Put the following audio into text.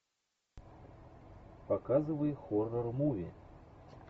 показывай хоррор муви